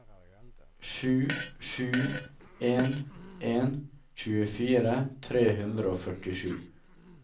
sju sju en en tjuefire tre hundre og førtisju